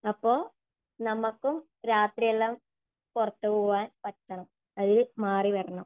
അപ്പോ നമുക്കും രാത്രിയെല്ലാം പുറത്തുപോകാന് പറ്റണം. അതില് മാറി വരണം